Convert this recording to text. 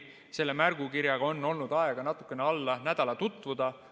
Selle märgukirjaga on olnud aega natukene alla nädala tutvuda.